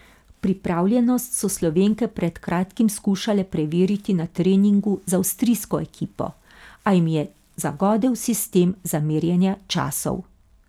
Pripravljenost so Slovenke pred kratkim skušale preveriti na treningu z avstrijsko ekipo, a jim jo je zagodel sistem za merjenje časov.